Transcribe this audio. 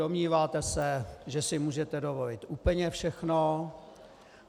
Domníváte se, že si můžete dovolit úplně všechno.